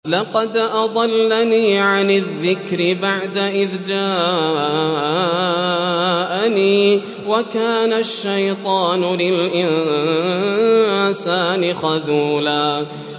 لَّقَدْ أَضَلَّنِي عَنِ الذِّكْرِ بَعْدَ إِذْ جَاءَنِي ۗ وَكَانَ الشَّيْطَانُ لِلْإِنسَانِ خَذُولًا